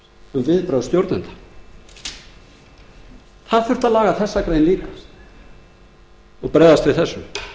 um viðbrögð stjórnenda það þurfti að laga þessa grein líka og bregðast við þessu